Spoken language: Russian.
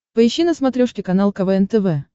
поищи на смотрешке канал квн тв